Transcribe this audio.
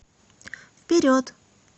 вперед